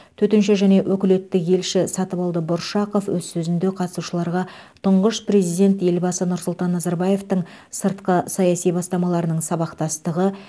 төтенше және өкілетті елші сатыбалды бұршақов өз сөзінде қатысушыларға тұңғыш президент елбасы нұрсұлтан назарбаевтың сыртқы саяси бастамаларының сабақтастығы